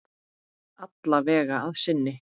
Alla vega að sinni.